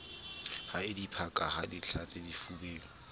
ho diphaka ho dihlathe difubeng